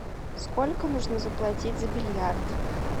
сколько нужно заплатить за бильярд